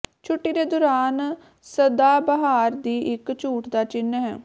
ਛੁੱਟੀ ਦੇ ਦੌਰਾਨ ਸਦਾਬਹਾਰ ਦੀ ਇੱਕ ਝੂਠ ਦਾ ਚਿੰਨ੍ਹ ਹੈ